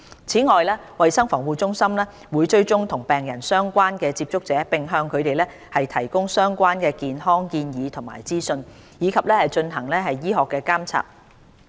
此外，衞生防護中心會追蹤與病人相關的接觸者，並向他們提供相關健康建議及資訊，以及進行醫學監察。